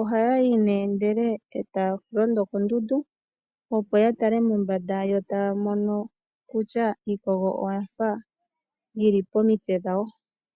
ohaya yi ndele e taa londo koondundu opo ya tale mombanda yo taa mono kutya iikogo oya fa yi li pomitse dhawo.